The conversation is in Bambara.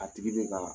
A tigi bɛ ka